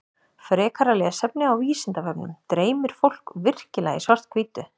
Frekara lesefni á Vísindavefnum Dreymir fólk virkilega í svart-hvítu?